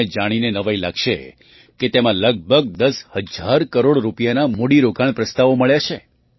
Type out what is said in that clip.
તમને જાણીને નવાઈ લાગશે કે તેમાં લગભગ દસ હજાર કરોડ રૂપિયાના મૂડીરોકાણ પ્રસ્તાવો મળ્યા છે